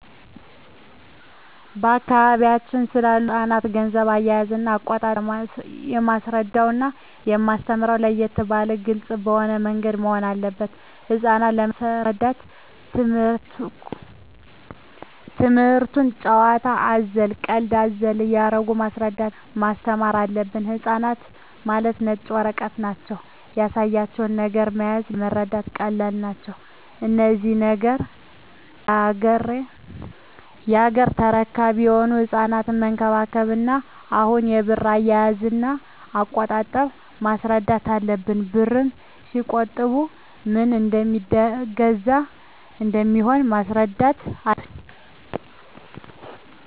በአካባቢያችን ስላሉ ህጻናት ገንዘብ አያያዝና አቆጣጠብ የማስረዳውና የማስተምረው ለየት ባለና ግልጽ በሆነ ምንገድ መሆን አለበት ህጻናት ለመሰረዳት ትምክህቱን ጭዋታ አዘል ቀልድ አዘል እያረጉ ማስረዳት እና ማስተማር አለብን ህጻናት ማለት ነጭ ወረቀት ማለት ናቸው ያሳያቸው ነገር መያዝ ለመረዳት ቀላል ናቸው እነዚህ ነገ ያገሬ ተረካቢ የሆኑ ህጻናትን መንከባከብ እና አሁኑ የብር አያያዥ እና አቆጣጠብ ማስረዳት አለብን ብርን ሲቆጥቡ ምን እደሜገዛ ምን እንደሚሆኑም ማስረዳት አለብን